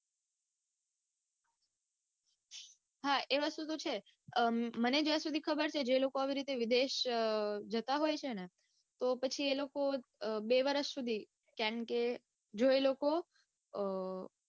હા એ વસ્તુ તો છે હમ મને જ્યાં સુધી ખબર છે જે લોકો આવી રીતે વિદેશ જતા હોય છે ને તો પછી એ લોકો બે વરસ સુધી કારણકે જો એ લોકો અઅ